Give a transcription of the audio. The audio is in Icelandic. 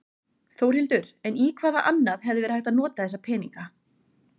Þórhildur: En í hvað annað hefði verið hægt að nota þessa peninga?